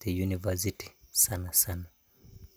te university sanasana.